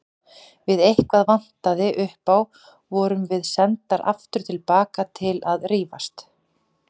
Ef eitthvað vantaði upp á vorum við sendar aftur til baka til að rífast.